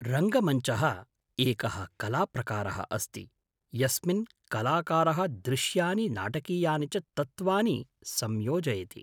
रङ्गमञ्चः एकः कलाप्रकारः अस्ति यस्मिन् कलाकारः दृश्यानि नाटकीयानि च तत्त्वानि संयोजयति।